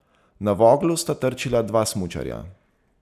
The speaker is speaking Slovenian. Na Voglu sta trčila dva smučarja.